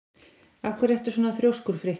Af hverju ertu svona þrjóskur, Frikki?